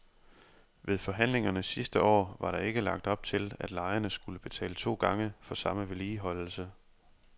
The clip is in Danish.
Ved forhandlingerne sidste år var der ikke lagt op til, at lejerne skulle betale to gange for samme vedligeholdelse.